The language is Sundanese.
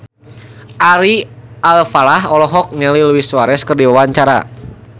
Ari Alfalah olohok ningali Luis Suarez keur diwawancara